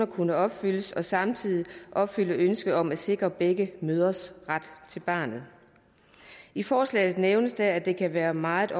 kunne opfyldes og samtidig ville opfylde ønsket om at sikre begge mødres ret til barnet i forslaget nævnes det at det kan være meget